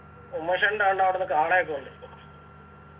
ഉമേഷേണ്ടാണ്ടവിടെന്ന് കാള ഒക്കെ ഉണ്ട്